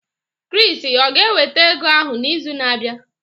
Chris o ga-eweta ego ahụ n'izu na-abịa?